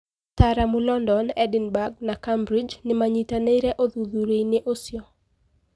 Ataaramu London, Edinburg na Cambridge nimanyitanire ũthûthurĩaini ucio.